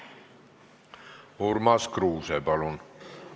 Urmas Kruuse, palun!